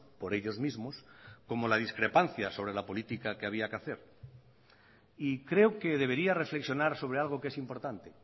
por ellos mismos como la discrepancia sobre la política que había que hacer y creo que debería reflexionar sobre algo que es importante